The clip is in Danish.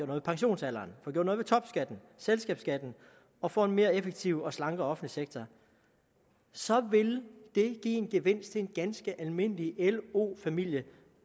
ved pensionsalderen få gjort og selskabsskatten og få en mere effektiv og slankere sektor så ville det give en gevinst til en ganske almindelig lo familie